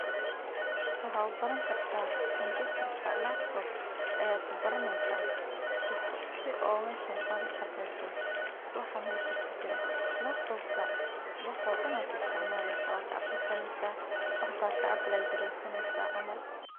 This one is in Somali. Waxaad ubaran kartaa si aad meeshan ooga shaqeeyo sida kaninada lakin waxa halkan kasocdo waxa.